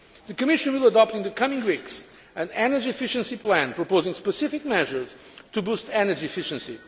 The Commission will adopt in the coming weeks an energy efficiency plan proposing specific measures to boost energy efficiency